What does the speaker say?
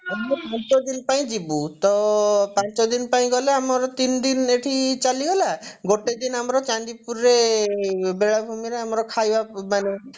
ମୁଁ ପାଞ୍ଚଦିନ ପାଇଁ ଯିବୁ ତ ପାଞ୍ଚଦିନ ପାଇଁ ଗଲେ ଆମର ତିନିଦିନ ଏଇଠି ଚାଲିଗଲା ଗୋଟେଦିନ ଆମର ଚାନ୍ଦିପୁରରେ ବେଳାଭୂମିରେ ଆମର ଖାଇବା ମାନେ